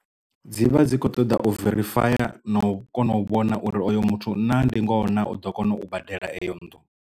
Dzi vha dzi kho ṱoḓa u verifaya na u kona u vhona uri oyo muthu na ndi ngoho na u ḓo kona u badela eyo nnḓu.